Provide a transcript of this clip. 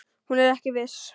Hún er ekki viss.